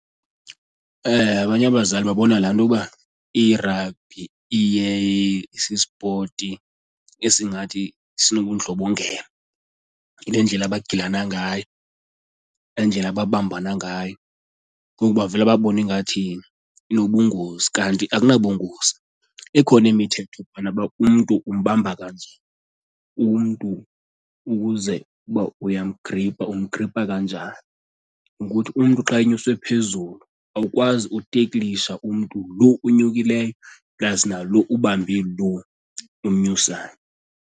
Abanye abazali babona laa nto ukuba irabhi iye isispoti esingathi sinobundlobongela nendlela abagilana ngayo nendlela ababambana ngayo ngoku bavele babone ingathi inobungozi, kanti akunabungozi. Ikhona imithetho phana uba umntu umbamba kanje, umntu ukuze uba uyamgripha umgripha kanjani nokuthi umntu xa enyuswe phezulu awukwazi ukuteklisha umntu lo unyukileyo plus nalo ubambe lo umnyusayo.